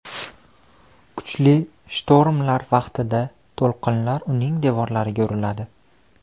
Kuchli shtormlar vaqtida to‘lqinlar uning devorlariga uriladi.